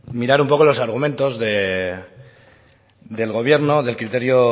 mirar un poco los argumentos del gobierno del criterio